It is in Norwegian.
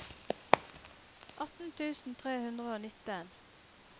atten tusen tre hundre og nitten